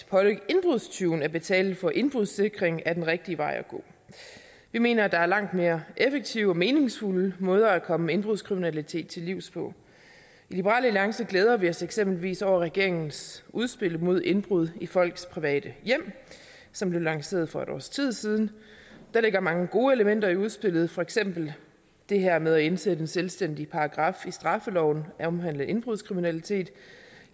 pålægge indbrudstyven at betale for indbrudssikring er den rigtige vej at gå vi mener at der er langt mere effektive og meningsfulde måder at komme indbrudskriminalitet til livs på i liberal alliance glæder vi os eksempelvis over regeringens udspil mod indbrud i folks private hjem som blev lanceret for et års tid siden der ligger mange gode elementer i udspillet for eksempel det her med at indsætte en selvstændig paragraf i straffeloven der omhandler indbrudskriminalitet